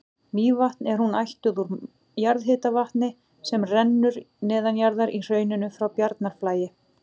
Mývatn er hún ættuð úr jarðhitavatni sem rennur neðanjarðar í hrauninu frá Bjarnarflagi.